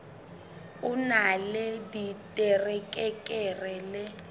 o na le diterekere le